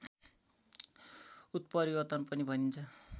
उत्परिवर्तन पनि भनिन्छ